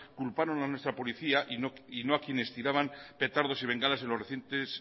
a nuestra policía y no a quienes tiraban petardos y bengalas en los recientes